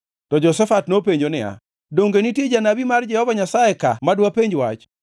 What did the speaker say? To Jehoshafat nopenjo niya, “Donge nitie janabi mar Jehova Nyasaye ka ma dwapenj wach?”